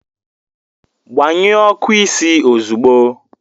Gbanyụọ ọkụ isi ozugbo!